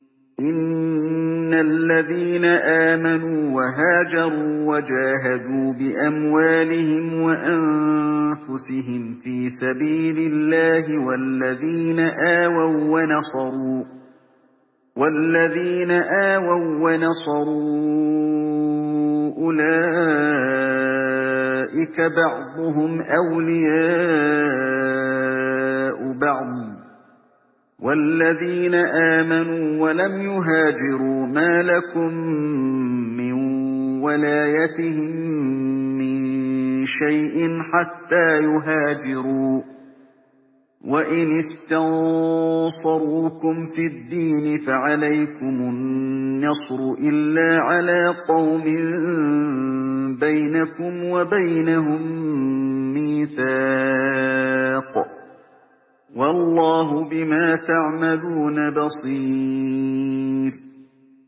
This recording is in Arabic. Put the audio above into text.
إِنَّ الَّذِينَ آمَنُوا وَهَاجَرُوا وَجَاهَدُوا بِأَمْوَالِهِمْ وَأَنفُسِهِمْ فِي سَبِيلِ اللَّهِ وَالَّذِينَ آوَوا وَّنَصَرُوا أُولَٰئِكَ بَعْضُهُمْ أَوْلِيَاءُ بَعْضٍ ۚ وَالَّذِينَ آمَنُوا وَلَمْ يُهَاجِرُوا مَا لَكُم مِّن وَلَايَتِهِم مِّن شَيْءٍ حَتَّىٰ يُهَاجِرُوا ۚ وَإِنِ اسْتَنصَرُوكُمْ فِي الدِّينِ فَعَلَيْكُمُ النَّصْرُ إِلَّا عَلَىٰ قَوْمٍ بَيْنَكُمْ وَبَيْنَهُم مِّيثَاقٌ ۗ وَاللَّهُ بِمَا تَعْمَلُونَ بَصِيرٌ